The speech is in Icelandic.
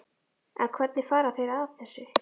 En hvernig fara þeir að þessu?